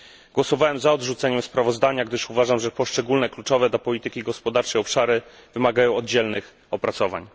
Głosowałem za odrzuceniem sprawozdania, gdyż uważam, że poszczególne, kluczowe dla polityki gospodarczej obszary wymagają oddzielnych opracowań.